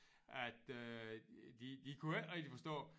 At øh de de kunne ikke rigtig forstå